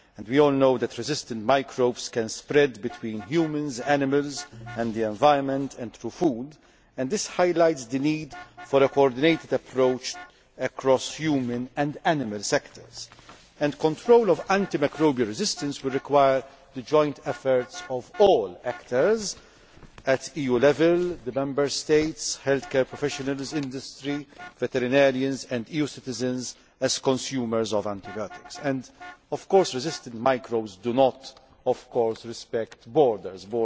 We all know that resistant microbes can spread between humans, animals and the environment and through food, and this highlights the need for a coordinated approach across human and animal sectors. Control of antimicrobial resistance will require the joint efforts of all actors at EU level the Member States, healthcare professionals, industry, veterinarians and EU citizens as consumers of antibiotics. Resistant microbes do not respect borders.